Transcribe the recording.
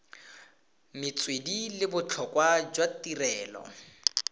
metswedi le botlhokwa jwa tirelo